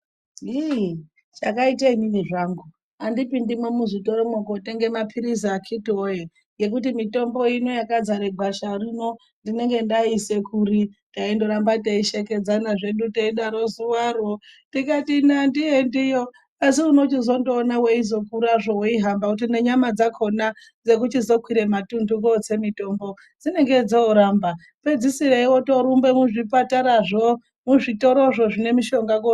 Hii chakaita inini zvangu, andipindimwo muzvitoromwo kuno tenga mapiritsi akiti wee, ngekuti mutombo ino yekazara gwasharino ndinonga ndaiisa, kuri taindoramba teishekedzana zvedu taidaro zuvaro ndikati ini andiendiyo asi unochizondoona wechizongokurazvo uchihamba wotoona nyama dzakona dzekuchizokwira matundu kotse mutombo dzinonge dzoramba pedzisire wotorumba muzvipatarazvo, muzvitorozvo zvine mushonga.